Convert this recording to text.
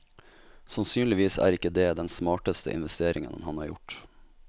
Sannsynligvis er ikke det den smarteste investeringen han har gjort.